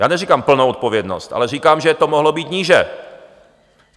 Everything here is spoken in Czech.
Já neříkám plnou odpovědnost, ale říkám, že to mohlo být níže.